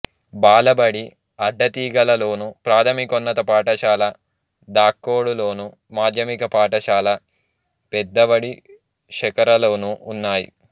బాలబడి అడ్డతీగలలోను ప్రాథమికోన్నత పాఠశాల దాకోడులోను మాధ్యమిక పాఠశాల పెద్దవడిశకర్రలోనూ ఉన్నాయి